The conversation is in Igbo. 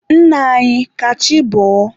Nna anyị, ka chi bọọ.